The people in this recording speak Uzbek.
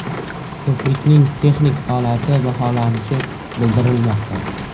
Ko‘prikning texnik holati baholanishi bildirilmoqda.